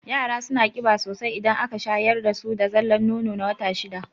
Yara suna ƙiba sosai idan aka shayar dasu da zallan nono na wata shida